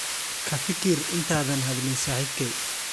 Ka fikir intaadan hadlin saaxiibkay.